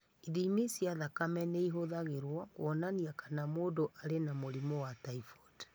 Ithimi cia thakame nĩ ihũthagĩrũo kuonania kana mũndũ arĩ na mũrimũ wa typhoid.